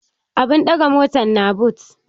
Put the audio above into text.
Abun ɗagan motan na but